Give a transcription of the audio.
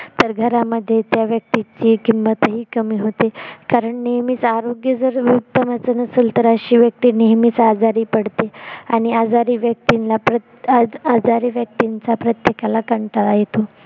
तर घरामध्ये त्या व्यक्तीची किंमतही कमी होते कारण नेहमीच आरोग्य जर उत्तमाचं नसेल तर अशी व्यक्ति नेहमीच आजारी पडते आणि आजारी व्यक्तींचा प्रत्येकाला कंटाळा येतो